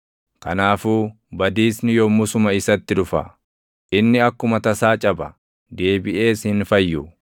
Kanaafuu badiisni yommusuma isatti dhufa; inni akkuma tasaa caba; deebiʼees hin fayyu.